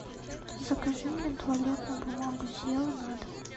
закажи мне туалетную бумагу зева на дом